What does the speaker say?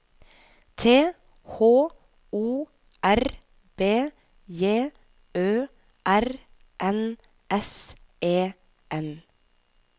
T H O R B J Ø R N S E N